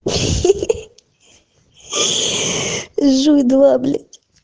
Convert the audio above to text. ха ха ха жуй два блять